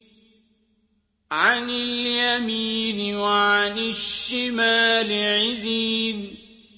عَنِ الْيَمِينِ وَعَنِ الشِّمَالِ عِزِينَ